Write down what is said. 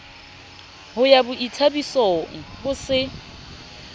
ho ya boithabisong ho se